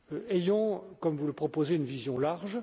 Ayons, comme vous le proposez, une vision large.